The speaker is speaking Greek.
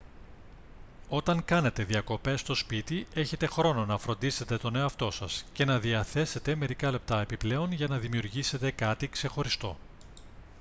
όταν κάνετε διακοπές στο σπίτι έχετε χρόνο να φροντίσετε τον εαυτό σας και να διαθέσετε μερικά λεπτά επιπλέον για να δημιουργήσετε κάτι ξεχωριστό